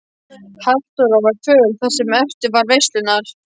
Halldóra var föl það sem eftir var veislunnar.